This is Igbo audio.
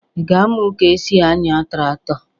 Ị ga-amụ ka e si anya tractor?